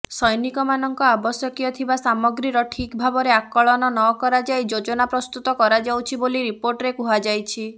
ସୈନିକମାନଙ୍କ ଆବଶ୍ୟକୀୟ ଥିବା ସାମଗ୍ରୀର ଠିକ୍ ଭାବରେ ଆକଳନ ନକରାଯାଇ ଯୋଜନା ପ୍ରସ୍ତୁତ କରାଯାଉଛି ବୋଲି ରିପୋର୍ଟରେ କୁହାଯାଇଛି